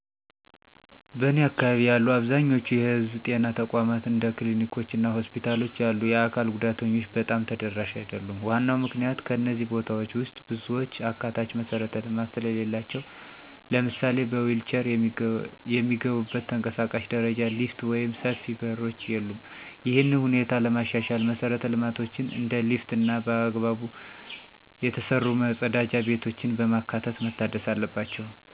በእኔ አካባቢ ያሉ አብዛኛዎቹ የህዝብ ጤና ተቋማት እንደ ክሊኒኮች እና ሆስፒታሎች ያሉ የአካል ጉዳተኞች በጣም ተደራሽ አይደሉም። ዋናው ምክንያት ከእነዚህ ቦታዎች ውስጥ ብዙዎቹ አካታች መሠረተ ልማት ስለሌላቸው። ለምሳሌ በዊልቼር የሚገቡበት ተንቀሳቃሽ ደረጃ፣ ሊፍት ወይም ሰፊ በሮች የሉም። ይህንን ሁኔታ ለማሻሻል መሰረተ ልማቶችን እንደ ሊፍት እና በአግባቡ የተሰሩ መጸዳጃ ቤቶችን በማካተት መታደስ አለባቸው።